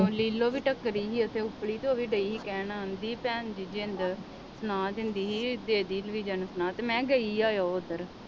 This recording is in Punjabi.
ਲੀਲੋ ਵੀ ਟੱਕਰੀ ਸੀ ਇੱਥੇ ਤੇ ਉਹ ਵੀ ਡਈ ਸੀ ਕਹਿਣ ਹਾਂਜੀ ਭੈਣ ਜੀ ਜਿੰਦ ਨਾਂ ਦਿੰਦੀ ਸੀ ਦੇ ਦੇਈ ਲਫ਼ੀਜਾ ਨੂੰ ਸੁਨੇਹਾਂ ਤੇ ਮੈਂ ਕਿਹਾ ਗਈ ਆ ਉਹ ਉੱਧਰ